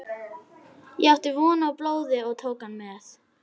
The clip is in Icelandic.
Ég átti von á blóði og tók hann með.